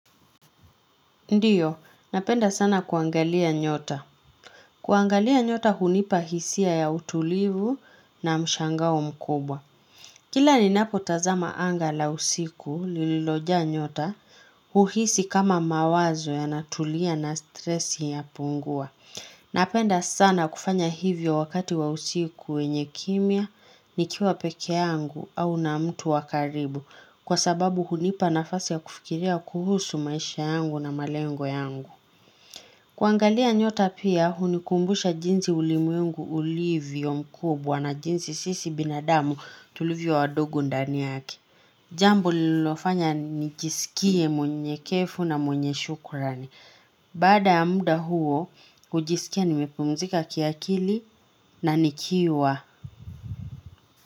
Ndiyo, napenda sana kuangalia nyota. Kuangalia nyota hunipa hisia ya utulivu na mshangao mkubwa. Kila ninapo tazama anga la usiku lililojaa nyota, uhisi kama mawazo yanatulia na stresi yapungua. Napenda sana kufanya hivyo wakati wa usiku wenye kimya, nikiwa peke yangu au na mtu wa karibu. Kwa sababu hunipa nafasi ya kufikiria kuhusu maisha yangu na malengo yangu. Kuangalia nyota pia, unikumbusha jinsi ulimwengu ulivyo mkubwa na jinsi sisi binadamu tulivyo wadogo ndani yake. Jambo lilofanya nijisikie mwenye kefu na mwenye shukurani. Baada ya muda huo, ujiskia nimepumzika kiakili na nikiwa.